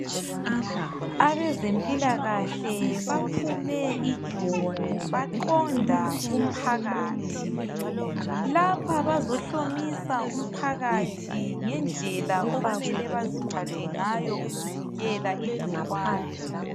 Abezempilakahle baphume ijumo baqonda kumphakathi lapha bazohlomisa umphakathi ngendlela okumele baziphathe ngayo ukuvikela igcikwane